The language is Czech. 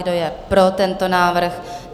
Kdo je pro tento návrh?